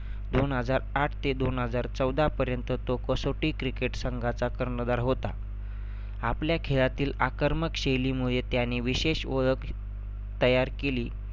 दोन हजार आठ ते दोन हजार चौदापर्यंत तो कसौटी cricket संघाचा कर्णधार होता. आपल्या खेळातील आकर्मक शैलीमुळे त्याने विशेष ओळख तयार केली